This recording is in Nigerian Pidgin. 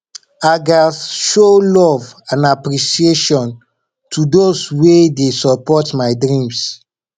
i gats show love and appreciation to those wey dey support my dreams